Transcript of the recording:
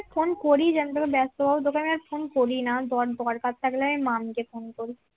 phone করি যে আমি তোকে বেস্ত পাবো তোকে আমি আর ফোন করি না আমার দরকার থাকলে আমি মামীকে ফোন করি